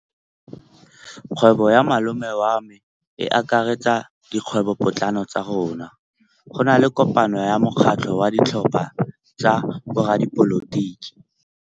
Kgwêbô ya malome wa me e akaretsa dikgwêbôpotlana tsa rona. Go na le kopanô ya mokgatlhô wa ditlhopha tsa boradipolotiki.